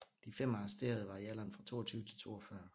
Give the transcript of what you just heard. De fem arresterede var i alderen fra 22 til 42